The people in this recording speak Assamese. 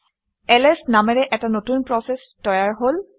এলএছ নামেৰে এটা নতুন প্ৰচেচ তৈয়াৰ হল